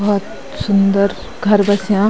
बहौत सुंदर घर बस्यां।